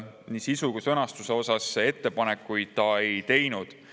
Nii sisu kui ka sõnastuse kohta ettepanekuid ta ei teinud.